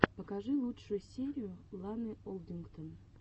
покажи лучшую серию ланы олдингтон